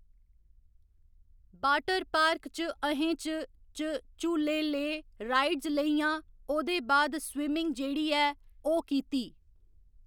Water park च अ'हें च च झूले ले राइड्स लेइयां ओह्दे बाद स्विमिंग जेह्ड़ी ऐ ओह् कीती।